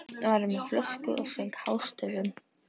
Einn var með flösku og söng hástöfum.